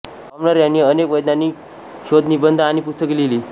commoner यांनी अनेक वैज्ञानिक शोधनिबंध आणि पुस्तके लिहिली